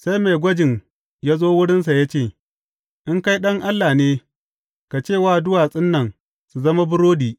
Sai mai gwajin ya zo wurinsa ya ce, In kai Ɗan Allah ne, ka ce wa duwatsun nan su zama burodi.